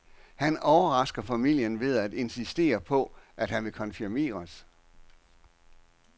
Han overrasker familien ved at insistere på, at han vil konfirmeres.